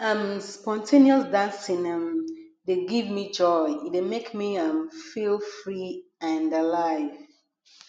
um spontaneous dancing um dey give me joy e dey make me um feel free and alive